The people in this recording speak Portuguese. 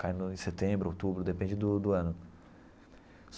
Cai no em setembro, outubro, depende do do ano.